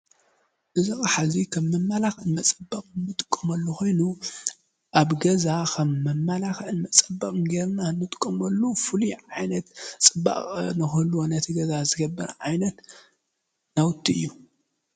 እዚ አቕሓ እዚ ከም መመላኽዒ መፀበቅን እንጥቀመሉ ኮይኑ ኣብ ገዛ ከም መማላኽዕን መፀበቕን ጌርና እንጥቀመሉ ፍሉይ ዓይነት ፅባቐ ንክህልዎ ነቲ ገዛ ዝገብር ዓይነት ናውቲ እዩ።